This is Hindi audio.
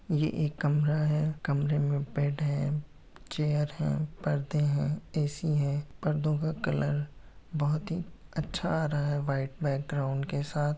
ये एक कमरा है। कमरे में बेड है चेयर है परदे हैं ऐसी है पर्दो का कलर बहुत ही अच्छा आ रहा है व्हाइट बैकग्राउंड के साथ।